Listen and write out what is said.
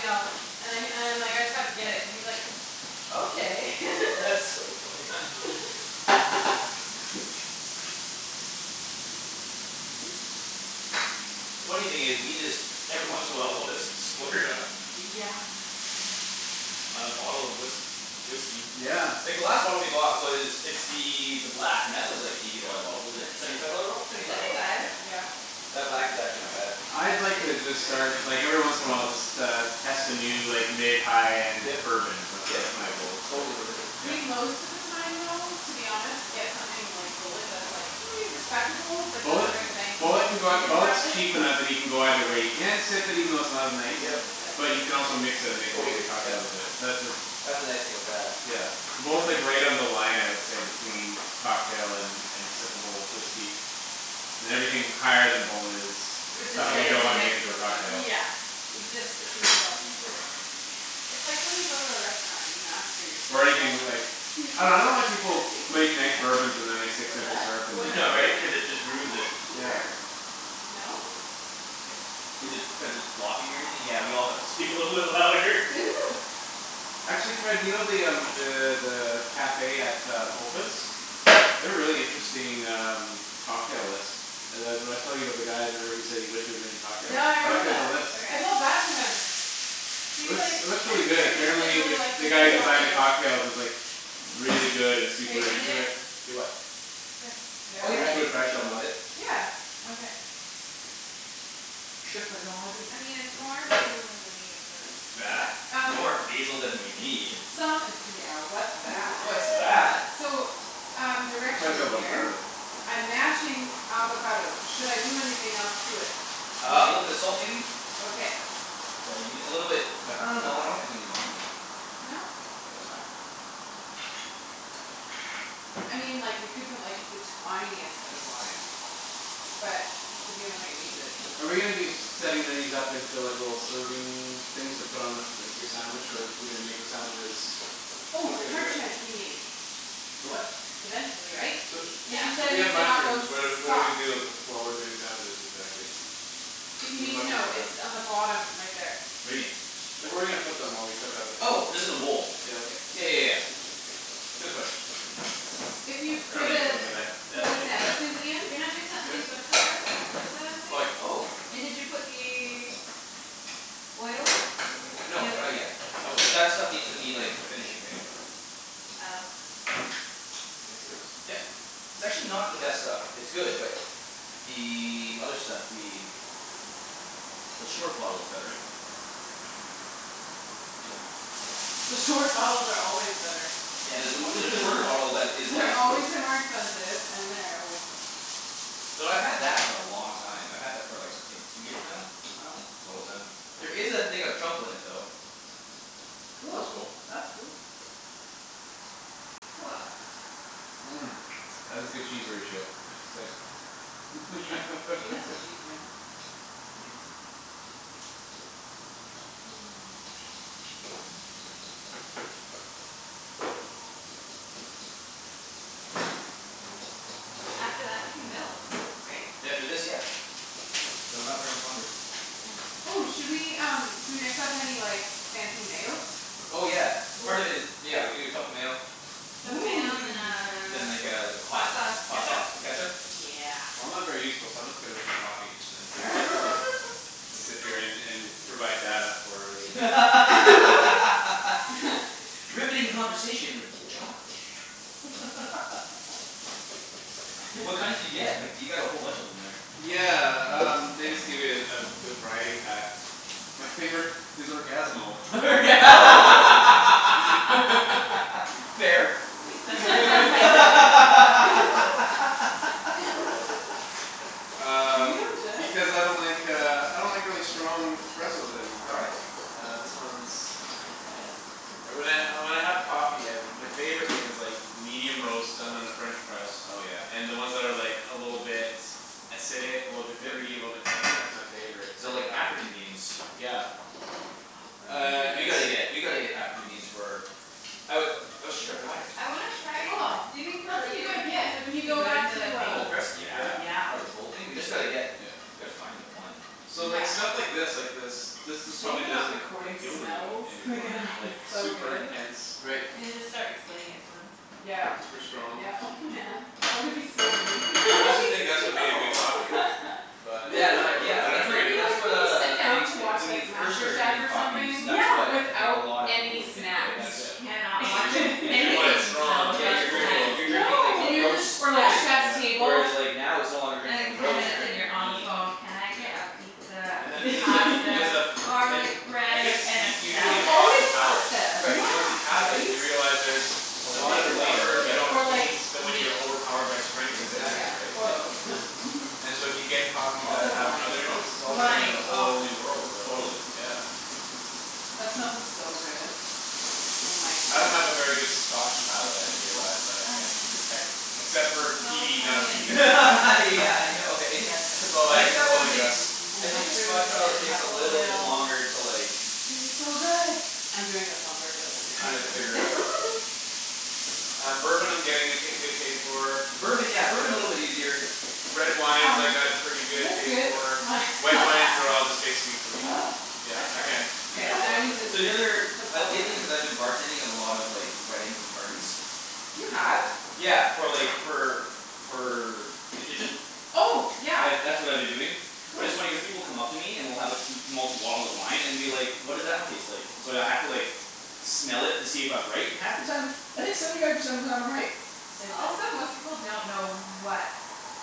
else." And I and I'm like, "I just have to get it." and he's like, "Okay." That's so funny. Oops. The funny thing is we just every once in a while we'll just splurge on Yeah. On a bottle of whisk- whiskey. Yeah. Like the last bottle we bought was it's the the black and that was like eighty Yeah. dollar a bottle wasn't it? Seventy five dollar bottle? Seventy five Seventy dollar bott- five. Yeah. Yeah. That black is actually not bad. I'd like uh to It's start good. like every once in a while just uh test a new like mid high end Yep bourbon is that's yep that's my that's ex- goal it's like totally worth it. yeah We most of the time though to be honest Yeah. get something like Bulleit that's like respectable but Bulleit doesn't break the bank cuz we Bulleit can can go consume more of Bulleit's it cheaper now that you can go either way you can sip it even though it's not I'm nice. gonna Yep. leave this out But because you we can need also it mix it and again. make Totally, amazing yep. cocktails with it that's uh That's the nice thing with that. Yeah. Yeah. Bulleit's right on the line I would say between cocktail and and sippable whiskey. And everything higher than Bulleit is R- Is kinda something you like disgrace don't to wanna mix make into a with stuff. cocktail. Yeah. It just it's We insulting. just can't. It's like when you go to a restaurant and you ask for your Or steak well using done. like I dunno I don't like What's people who make nice bourbons and then they the point? stick What's simple that? syrup in them What's the Yeah right right? point? cuz it just I can't ruins it. Yeah. hear. No? Is it cuz it's blocking everything? Yeah we all have to speak a little bit louder Actually, Ped you know the um the the cafe at um Opus? They have a really interesting um cocktail list Uh the w- I was telling you about the guy remember who said he wished he was making cocktails? Yeah I I looked remember at the that. list. I Okay. felt bad for him. It He's like, looks it looks really "I'm good. here because I Apparently the really like the guy who making designs the cocktails." cocktails is like Really good and Are super you gonna do into it. it? Do what? This. Oh Yeah? yeah We I should can go try a like chip in couple. a bit. Yeah. Okay. Chiffonade I mean it's more basil than we need, but Bah, Um more basil than we need? Some d- yeah what's that? What's What? that? So um I plan to direction fill up in on here. garlic. I'm mashing avocado. Should I do anything else to it? Uh a Like, little bit of salt maybe? okay. That's all you need a little bit Pepper. uh no I don't think we need lime in it. No. Think that's fine. I mean like we could put like the tiniest bit of lime. But if you don't think it needs it Are we gonna then be setting these up into like little serving things to put on a like your sandwich or are we gonna make the sandwiches How're Oh, we gonna do parchment it? we need. For what? Eventually, right? So Cuz Yeah. you so said we we have need to not go mushrooms. What are what do we soft. do while we're doing sandwiches exactly? If you When the need to mushrooms know, are it's done. on the bottom right there. What do you mean? Like where are we gonna put them while we cook other Oh things just in in a there? bowl. Yeah Yeah okay. yeah yeah yeah. Good question If you for the for that the big. sandwiches, Ian You're not doing Is the this onions with his? the gar- with the Like thing? oh And did you put the Oil in? No The other not oil. yet. That was that stuff needs to be like a finishing thing. Oh. Can I see this? Yep. It's actually not the best stuff. It's good but The other stuff we The short bottle is better. The short bottles are always better. Yeah there's a on- there's a shorter bottle that is They're like always way more expensive and they're always better. Though I've had that for a long time. I've had that for like I think two years now? Wow. It's almost done. There is a thing of truffle in it though. That's Cool. cool. That's cool. That is a good cheese ratio I have to say. Yep. She knows what she's doin'. After that we can build, right? After this, yeah. So not very much longer. Okay. Oh, should we um should we mix up any like fancy mayos? Oh yeah. Oh. Part of it is. Yeah we can do a truffle mayo. Truffle mayo and then Then like a a hot hot sauce hot ketchup? sauce ketchup Yeah. I'm not very useful so I'm just gonna make a coffee and then All drink right. it. It's appearin' and provide data for the internet. Riveting conversation with Josh. What kind did you get? Like du- you got a whole bunch in there. Yeah um they just give it a a variety pack. My favorite is Orgasmo. Orga- Fair. The favorite Were Um you and Jeff? because I don't like uh I don't like really strong espressos anymore. All right. Uh this one's Uh when I uh when I have coffee my favorite thing is like medium roast done in a french press. Oh yeah. And then ones that are like a little bit Acidic, a little bit fruit a Yep. little bit tangy. That's my favorite So type of like African coffee. beans. Yeah. Ah Uh Burundi We it's gotta beans. get we gotta get African beans for oh we shoulda brought it. I wanna Yeah. try Oh, do you think that's what you Burundi gotta wo- beans get would when you be go good in back to the thing? uh Cold press? Yeah. Yeah? Yeah. Part of the cold thing? We just gotta get Yeah. Gotta find them, one. So like Yeah. stuff like this like this this It's a just shame probably we're not doesn't recording appeal to me smells anymore because like it's so super good. intense. Right. And you just start explaining it to them. Yeah Super strong. yeah oh man that would be so mean I used to think that's what made a good coffee. But Yeah no I yeah don't that's It what agree would be anymore. that's like what when you uh sit I down think to Like watch when you like first Master start Chef drinking or coffees something Yeah. that's what I think a without lot of people any would think snacks. right You that's Yeah. cannot Where watch you you're Like you any drinking want it cooking strong show cuz Yeah without you're you're drinking cool. you're snacks. No. drinking like the Then you're roast just Or like right? effed Chef's Yeah. Table. Whereas like now it's no longer drinking And like You the ten roast you're minutes can't. and drinking you're the on the bean. phone, "Can I get a Yeah. pizza, And that some there's a fl- there's pasta, a f- garlic and I bread, guess and you a you do need salad?" It's a coffee always palate, pasta, but Right. once you Yeah. have it right? you realize there's A So lot of much more, flavors you yes. don't Or like taste when meat. you're overpowered by strength and Exactly, Yeah. bitterness, right? Or yep. both. And so if you get coffee that Also have other wine. notes All of a sudden there's Wine, a oh. whole new world of Totally. The yeah. wine. That smells so good. Oh my I don't have a very good goodness. scotch palate I've Oh, realized that I can't onions. detect Except for The a smell of peaty and not onion peaty is my favorite. Yeah I know eh? Yes. That's It's all I I think that that's all one I got. takes I And think the scotch mushrooms, and palate takes a truffle little bit oil. Uh longer it's to like going to be so good. I'm doing this on purpose To kinda figure out. Um bourbon I'm getting a ta- good taste for Bourbon yeah Yeah. bourbon's a little bit easier. Red wines I Um, got a pretty is good this taste good? for My Oh White wines they're all yeah. just taste sweet to me. Yeah That's I can't perfect. K, detect a now I lot of need to differences. So the other put like salt in lately it. cuz I've been bartending a lot of like weddings and parties You have? Yeah for like for for the kitchen? Oh yeah, I've that's what I've been doing But it's funny cuz cool. people come up to me and will have m- multiple bottles of wine and will be like, "What does that one taste like?" And so I'd h- have to like smell it to see if I'm right and half the time I think seventy five percent of the time I'm right. Say Also when. most people don't know what